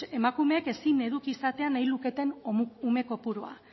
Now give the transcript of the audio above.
emakumeen ezin eduki nahi izatea nahi luketen ume kopurua